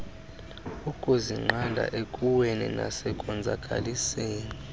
ukuzinqanda ekuweni nasekonzakaliseni